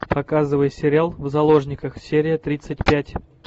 показывай сериал в заложниках серия тридцать пять